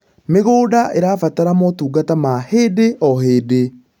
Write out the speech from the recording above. mĩgũnda irabatara motungata ma hĩndĩ o hĩndĩ